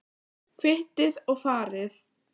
Kvittið og farið.